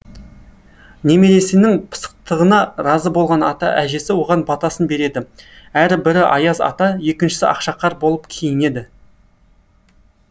немересінің пысықтығына разы болған ата әжесі оған батасын береді әрі бірі аяз ата екіншісі ақшақар болып киінеді